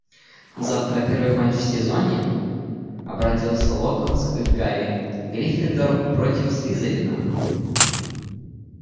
завтра первый матч в сезоне обратился локонс к гарри гриффиндор против слизерина